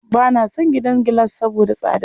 Ba na son gidan gilas saboda tsadarsa.